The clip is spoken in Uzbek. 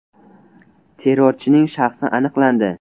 Terrorchining shaxsi aniqlandi.